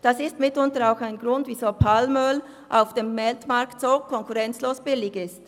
Das ist mitunter ein Grund, weshalb Palmöl auf dem Weltmarkt so konkurrenzlos billig ist.